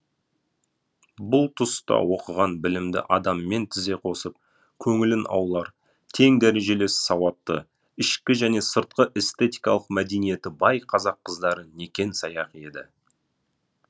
бұл тұста оқыған білімді адаммен тізе қосып көңілін аулар тең дәрежелес сауатты ішкі және сыртқы эстетикалық мәдениеті бай қазақ қыздары некен саяқ еді